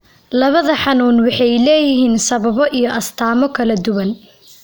Labada xanuun waxay leeyihiin sababo iyo astaamo kala duwan.